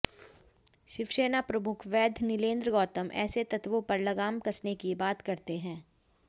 शिवसेना प्रमुख वैद्य नीलेंद्र गौतम ऐसे तत्त्वों पर लगाम कसने की बात करते हैं